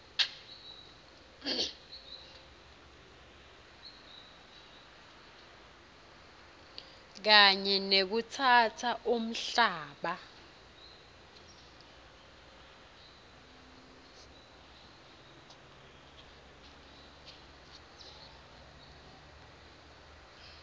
kanye nekutsatsa umhlaba